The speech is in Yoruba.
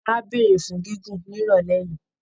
Á béèrè fún gígùn ní ìrọ̀lẹ́ yìí